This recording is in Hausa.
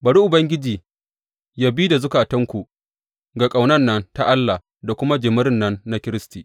Bari Ubangiji yă bi da zukatanku ga ƙaunan nan ta Allah da kuma jimirin nan na Kiristi.